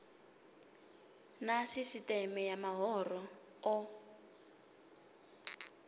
na sisieme ya mahoro o